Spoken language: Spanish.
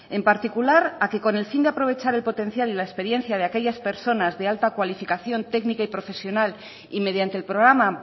en particular a que con el fin de aprovechar el potencial y la experiencia de aquellas personas de alta cualificación técnica y profesional y mediante el programa